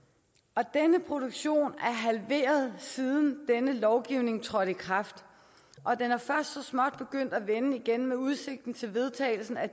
og denne produktion er halveret siden denne lovgivning trådte i kraft og den er først så småt begyndt at vende igen med udsigten til vedtagelsen af